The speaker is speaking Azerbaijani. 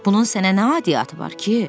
Bunun sənə nə aidiyyatı var ki?